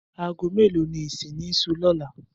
Aago mélòó ni ìsìn ní s̩óò̩ lóla?